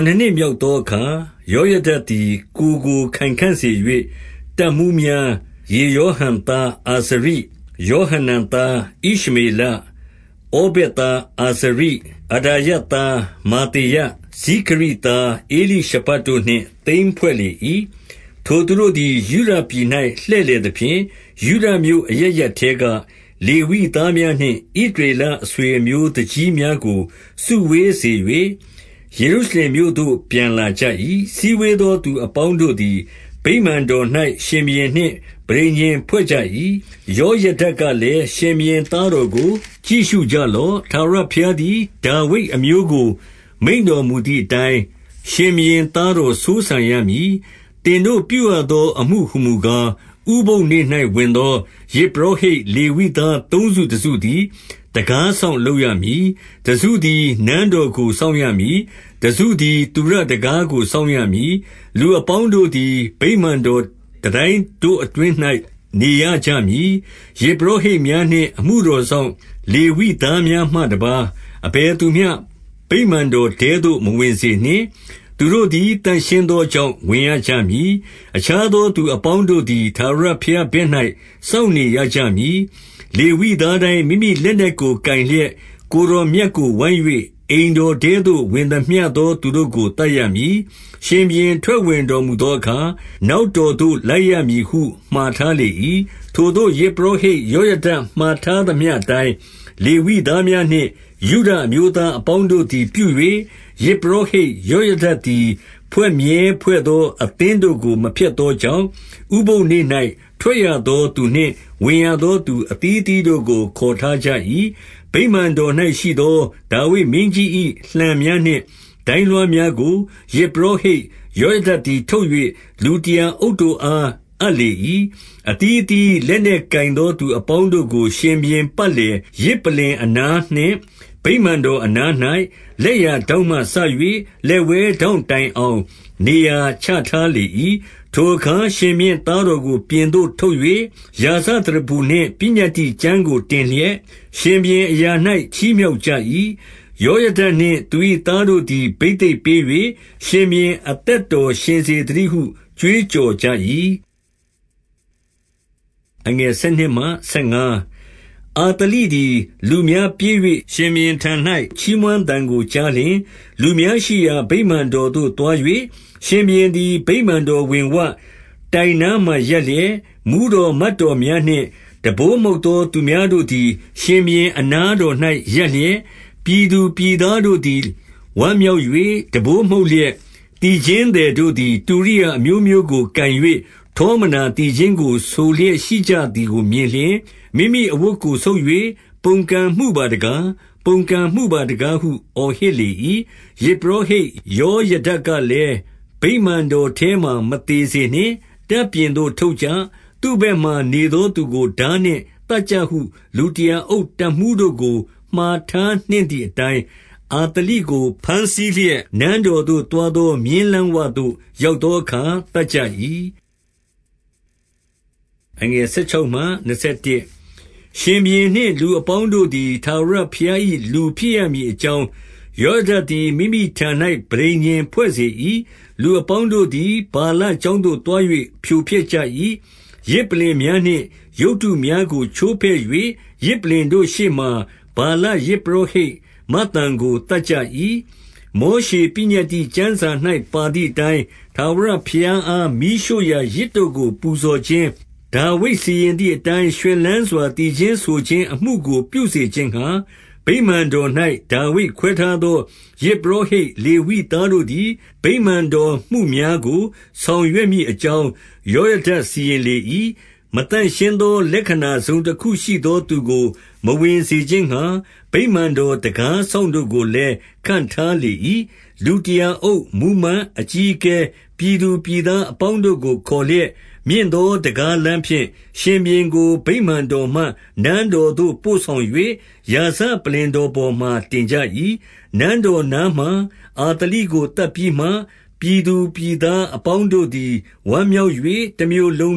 နှစ်မြောက်သောအခါ၊ ယောယဒသည် ကိုယ်ကိုခိုင်ခံ့စေ၍ တပ်မှူးများ၊ ယေရောဟံသား အာဇရိ၊ ယောဟနန်သား ဣရှမေလ၊ ဩဗက်သားအာဇရိ၊ အဒါ ယသား မာသေယ၊ ဇိခရိသား ဧလိရှဖတ်တို့နှင့် သင်းဖွဲ့ လေ၏။ 2 ထိုသူတို့သည် ယုဒပြည်၌ လှည့်လည်သဖြင့်၊ ယုဒမြို့အရပ်ရပ်ထဲက လေဝိသားများနှင့် ဣသရေလ အဆွေအမျိုး သူကြီးများကို စုဝေးစေ၍၊ ယေရုရှလင်မြို့ သို့ ပြန်လာကြ၏။ 3 စည်းဝေးသောသူ အပေါင်းတို့သည် ဗိမာန် တော်၌ ရှင်ဘုရင်နှင့် ပဋိညာဉ်ဖွဲ့ကြ၏။ ယောယဒ ကလည်း၊ ရှင်ဘုရင်သားတော်ကို ကြည့်ရှုကြလော့။ ထာဝရဘုရားသည် ဒါဝိဒ်အမျိုးကို မိန့်တော်မူသည် အတိုင်း၊ ရှင်ဘုရင်သားတော် စိုးစံရမည်။ 4 သင်တို့ပြုရသော အမှုဟူမူကား၊ ဥပုသ်နေ့၌ ဝင်သောယဇ်ပုရောဟိတ် လေဝိသားသုံးစုတစုသည် တံခါးစောင့်လုပ်ရမည်။ 5 တစုသည် နန်းတော်ကို စောင့်ရမည်။ တစု သည် သုရတံခါးကို စောင့်ရမည်။ လူအပေါင်းတို့သည် ဗိမာန်တော်တန်တိုင်းတို့အတွင်း၌ နေရကြမည်။ 6 ယဇ်ပုရောဟိတ်များနှင့် အမှုတော်စောင့် လေဝိသားများမှတပါး၊ အဘယ်သူမျှ ဗိမာန်တော်ထဲသို့ မဝင်စေနှင့်။ သူတို့သည်သန့်ရှင်းသောကြောင့် ဝင်ရကြ မည်။ အခြားသောသူအပေါင်းတို့သည် ထာဝရဘုရား ဘက်၌စောင့်နေရကြမည်။ 7 လေဝိသားတိုင်း မိမိလက်နက်ကိုကိုင်လျက်၊ ကိုယ် တော်မြတ်ကို ဝိုင်း၍ အိမ်တော်ထဲသို့ ဝင်သမျှသော သူတို့ကို သတ်ရမည်။ ရှင်ဘုရင်ထွက်ဝင်တော်မူသော အခါ၊ နောက်တော်သို့လိုက်ရမည်ဟု မှာထားလေ၏။ 8 ထိုသို့ယဇ်ပုရောဟိတ်ယောယဒမှာ ထားသမျှ အတိုင်း၊ လေဝိသားများနှင့် ယုဒအမျိုးသားအပေါင်းတို့ သည်ပြု၍၊ ယဇ်ပုရောဟိတ်ယောဒသည် ဖွဲ့မြဲဖွဲ့သော အသင်းတို့ကို မဖျက်သောကြောင့်၊ ဥပုသ်နေ့၌ ထွက်ရ သောသူနှင့် ဝင်ရသော သူအသီးအသီးတို့ကို ခေါ်ထား ကြ၏။ 9 ဗိမာန်တော်၌ရှိသောဒါဝိဒ်မင်းကြီး၏ လှံများနှင့် ဒိုင်းလွှားများကို၊ ယဇ်ပုရောဟိတ်ယောယဒသည် ထုတ်၍၊ လူတရာအုပ်တို့အား အပ်လေ၏။ 10 အသီးအသီးလက်နက်ကိုင်သော သူအပေါင်းတို့ကို ရှင်ဘုရင်ပတ်လည်၊ ယဇ်ပလ္လင်အနားနှင့် ဗိမာန်တော် အနား၌၊ လက်ျာထောင့်မှစ၍ လက်ဝဲထောင့်တိုင်အောင် နေရာချထားလေ၏။ 11 ထိုအခါ ရှင်ဘုရင်သားတော်ကို ပြင်သို့ထုတ်၍၊ ရာဇသရဖူနှင့် ပညတ္တိကျမ်းစာကိုတင်လျက်၊ ရှင်ဘုရင် အရာ၌ ချီးမြှောက်ကြ၏။ ယောယဒနှင့် သူ၏သားတို့ သည် ဘိသိက်ပေး၍၊ ရှင်ဘုရင်အသက်တော်ရှင်စေသ တည်းဟု ကြွေးကြော်ကြ၏။ 12 အာသလိသည် လူများပြေး၍၊ ရှင်ဘုရင်ထံ၌ ချီးမွမ်းသံကိုကြားလျှင်၊ လူများရှိရာ ဗိမာန်တော်သို့ သွား၍၊ 13 ရှင်ဘုရင်သည် ဗိမာန်တော်ဝင်ဝ၊ တိုင်နားမှာ ရပ်လျက်၊ မှူးတော်မတ်တော်များနှင့် တံပိုးမှုတ်သော သူများတို့သည် ရှင်ဘုရင်အနားတော်၌ ရပ်လျက်၊ ပြည်သူပြည်သားများတို့သည် ဝမ်းမြောက်၍၊ တံပိုးမှုတ် လျက် သီချင်းသည်တို့သည် တုရိယာအမျိုးမျိုးကိုကိုင်၍၊ ထောမနာသီချင်းကို ဆိုလျက်ရှိကြသည်ကိုမြင်လျှင်၊ မိမိအဝတ်ကိုဆုတ်၍ ပုန်ကုန်မှုပါတကား၊ ပုန်ကန်မှုပါ တကားဟု အော်ဟစ်လေ၏။ 14 ယဇ်ပုရောဟိတ်ယောယဒကလည်း။ ဗိမာန်တော် ထဲမှာ မသေစေနှင့်။ တပ်ပြင်သို့ ထုတ်ကြ။ သူ့ဘက်မှာ နေသောသူကိုထားနှင့် သတ်ကြ ဟုလူတရာအုပ်တပ်မှူး တို့ကို မှာထားနှင့်သည်အတိုင်း၊ 15 အာသလိကို ဘမ်းဆီးလျက်၊ နန်းတော်သို့ သွားသော မြင်းလမ်းဝသို့ ရောက်သောအခါ သတ်ကြ၏။ 16 ရှင်ဘုရင်နှင့် လူအပေါင်းတို့သည် ထာဝရ ဘုရား၏လူဖြစ်ရမည်အကြောင်း၊ ယောယဒသည် မိမိထံ၌ ပဋိညာဉ်ဖွဲ့စေ၏။ 17 လူအပေါင်းတို့သည် ဗာလကျောင်းသို့သွား၍ ဖြိုဖျက်ကြ၏။ ယဇ်ပလ္လင်များနှင့် ရုပ်တုများကိုချိုးဖဲ့၍၊ ယဇ်ပလ္လင်တို့ရှေ့မှာ ဗာလယဇ်ပုရော ဟိတ်မဿန်ကို သတ်ကြ၏။ 18 မောရှေပညတ္တိကျမ်း၌ ပါသည်အတိုင်း၊ ထာဝရ ဘုရားအား မီးရှို့ရာယဇ်တို့ကို ပူဇော်ခြင်း၊ ဒါဝိဒ်စီရင် သည်အတိုင်း၊ ရွှင်လန်းစွာသီချင်းဆိုခြင်းအမှုကို ပြုစေ ခြင်းငှါ၊ ဗိမာန်တော်၌ ဒါဝိဒ်ခွဲထားသော ယဇ်ပုရောဟိတ် လေဝိသားတို့သည် ဗိမာန်တော်မှုများကို ဆောင်ရွက်မည် အကြောင်း၊ ယောယဒစီရင်လေ၏။ 19 မသန့်ရှင်းသော လက္ခဏာတစုံတခုရှိသော သူကို မဝင်စေခြင်းငှါ။ ဗိမာန်တော်တံခါးစောင့်တို့ကိုလည်း ခန့်ထားလေ၏။ 20 လူတရာအုပ်၊ မှူးမတ်၊ အကြီးအကဲ၊ ပြည်သူ ပြည်သားအပေါင်းတို့ကို ခေါ်လျက်၊ မြင့်သော တံခါးလမ်း ဖြင့်၊ ရှင်ဘုရင်ကို ဗိမာန်တော်မှ နန်းတော်သို့ပို့ဆောင်၍၊ ရာဇပလ္လင်တော်ပေါ်မှာ တင်ကြ၏။ 21 နန်းတော်နားမှာ အာသလိကို သတ်ပြီးမှ၊ ပြည်သူပြည်သားအပေါင်းတို့သည် ဝမ်းမြောက်၍၊ တမြို့လုံ